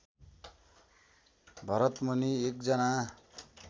भरतमुनि एकजना